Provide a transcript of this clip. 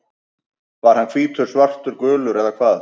Var hann hvítur, svartur, gulur eða hvað?